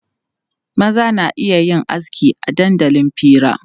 Maza na iya yin aski a dandalin fira.